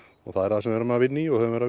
það er það sem við erum að vinna í og höfum verið